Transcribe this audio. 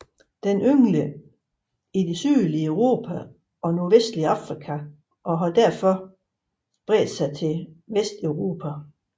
Den yngler i det sydlige Europa og nordvestlige Afrika og har desuden bredt sig til Vesteuropa